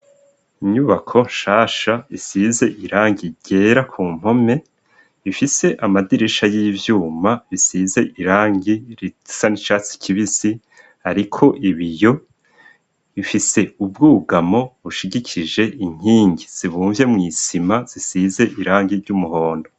Inyubako nshasha isize irangi ryera ku mpome, ifise amadirisha y'ivyuma bisize irangi risa n' icatsi kibisi ariko ibiyo. Ifise ubwugamo bushigikije inkingi zibumvye mw' isima zisize irangi ry'umuhondo.